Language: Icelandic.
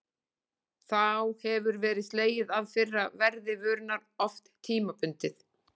Þá hefur verið slegið af fyrra verði vörunnar, oft tímabundið.